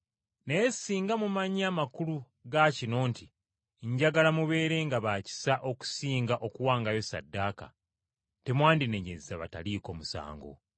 Naye singa mumanyi amakulu ga kino nti, ‘Njagala mubeerenga ba kisa okusinga okuwangayo ssaddaaka,’ temwandinenyezza bataliiko musango.